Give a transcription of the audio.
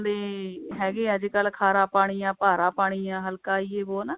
ਦੇ ਹੈਗੇ ਹੈ ਅੱਜਕਲ ਖਾਰਾ ਪਾਣੀ ਆ ਭਾਰਾ ਪਾਣੀ ਆ ਹਲਕਾ ਪਾਣੀ ਜੇ ਵੋ ਹਨਾ